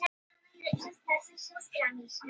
Hafnar máli Georgíu gegn Rússum